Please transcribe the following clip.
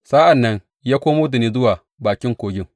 Sa’an nan ya komo da ni zuwa bakin kogin.